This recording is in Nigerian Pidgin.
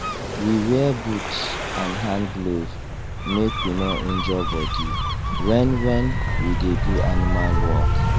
we wear boot and hand glove make we no injure body when when we dey do animal work